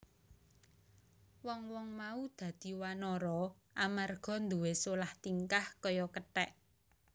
Wong wong mau dadi wanara amarga nduwé solah tingkah kaya kethek